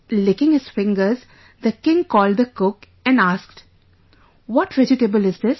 Licking his fingers, the king called the cook and asked... "What vegetable is it